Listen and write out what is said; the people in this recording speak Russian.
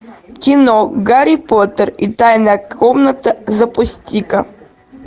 кино гарри поттер и тайная комната запусти ка